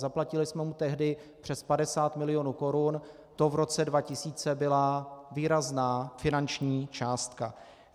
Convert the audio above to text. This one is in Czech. Zaplatili jsme mu tehdy přes 50 mil. korun, to v roce 2000 byla výrazná finanční částka.